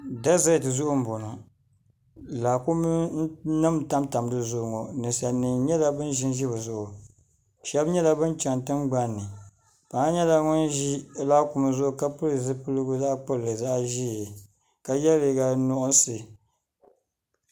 dɛzɛt zuɣu n boŋo laakum nim n tamtam di zuɣu ŋo ninsal nim nyɛla bin ʒinʒi bizuɣu shab nyɛla bin chɛni tingbanni paɣa nyɛla ŋun ʒi laakum zuɣu ka pili zipiligu zaɣ ʒiɛ ka yɛ liiga nuɣsi